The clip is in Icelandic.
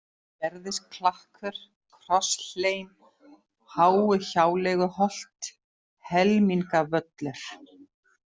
Gerðisklakkur, Krosshlein, Háuhjáleiguholt, Helmingavöllur